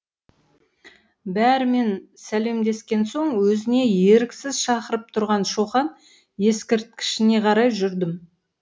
бәрімен сәлемдескен соң өзіне еріксіз шақырып тұрған шоқан ескерткішіне қарай жүрдім